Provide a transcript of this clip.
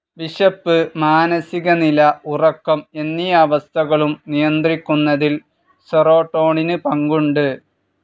വിശപ്പ്, മാനസികനില, ഉറക്കം എന്നീ അവസ്ഥകളും നിയന്ത്രിക്കുന്നതിൽ സീറോട്ടോണിൻ പങ്കുണ്ട്.